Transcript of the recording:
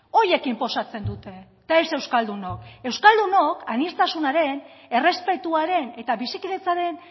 horiek inposatzen dute eta ez euskaldunok euskaldunok aniztasunaren errespetuaren eta bizikidetzaren